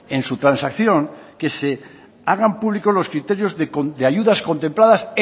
en su transacción que se hagan públicos los criterios de ayudas contempladas